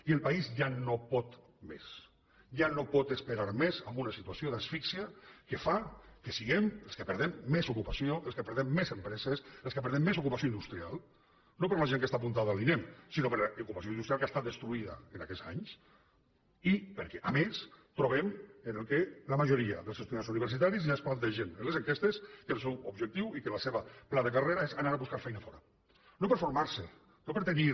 i el país ja no pot més ja no pot esperar més en una situació d’asfíxia que fa que siguem els que perdem més ocupació els que perdem més empreses els que perdem més ocupació industrial no per la gent que està apuntada a l’inem sinó per l’ocupació industrial que ha estat destruïda en aquests anys i perquè a més trobem que la majoria dels estudiants universitaris ja es plantegen en les enquestes que el seu objectiu i que el seu pla de carrera és anar a buscar feina fora no per formar se no per tenir